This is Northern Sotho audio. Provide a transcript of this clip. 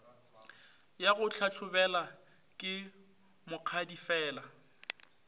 ya go hlahlobela ke mokgadifela